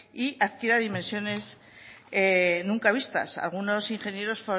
y adquiera dimensiones nunca vistas algunos ingenieros